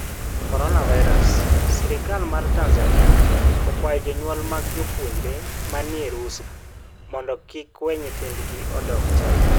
Coronavirus: Sirkal mar Tanzania okwayo jonyuol mag jopuonjre ma ni e rusa mondo kik we nyithindgi odog China